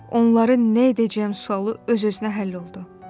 Onları nə edəcəm sualı öz-özünə həll oldu.